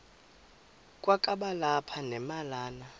kwakaba lapha nemalana